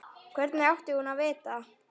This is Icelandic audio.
Hvernig átti hún að vita-?